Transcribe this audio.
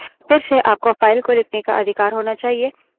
फिर से आपको file को लिखने का अधिकार होना चाहिए